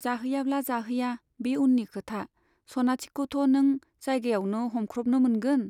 जाहैयाब्ला जाहैया, बे उननि खोथा, सनाथिखौथ' नों जायगायावनो हमख्रबनो मोनगोन।